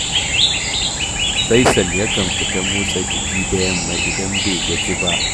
Faisal yakan fita motsa jiki da yamma idan bai gaji ba